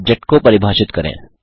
object को परिभाषित करें